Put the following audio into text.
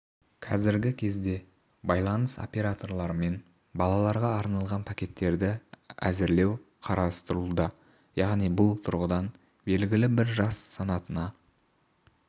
қазіргі кезде байланыс операторларымен балаларға арналған пакеттерді әзірлеу қарастырылуда яғни бұл тұрғыда белгілі бір жас санатына